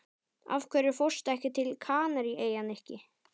Af hverju fórstu ekki til Kanaríeyja, Nikki?